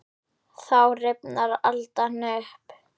Þá rifnar aldan upp.